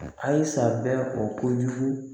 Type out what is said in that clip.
Ayisa bɛ ko kojugu